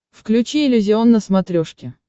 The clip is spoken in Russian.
включи иллюзион на смотрешке